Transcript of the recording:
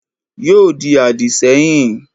Yóò di àdìsẹ́yìn